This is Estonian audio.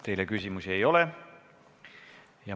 Teile küsimusi ei ole.